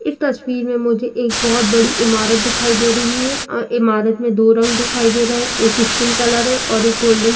इस तस्वीर में मुझे एक बहोत बड़ी इमारत दिखाई दे रही है। अं इमारत में दो रंग दिखाई दे रहे। एक स्किन कलर है और एक गोल्डन ।